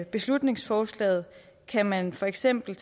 beslutningsforslaget kan man for eksempel